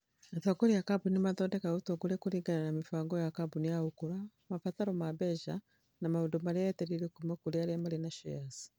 Atongoria a kambuni nĩ mathondekaga ũtongoria kũringana na mĩbango ya kambuni ya gũkũra, mabataro ma mbeca, na maũndũ marĩa etereire kuuma kũrĩ arĩa marĩ na shares.